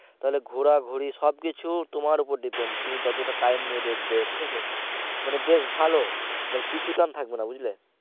তাহলে ঘোরাঘুরি সব কিছু তোমার উপর depend, তুমি যতটা time নিয়ে দেখবে ঠিক আছে মানে বেশ ভালো মানে পিছুটান থাকবে না বুঝলে।